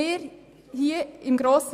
Wir im Grossen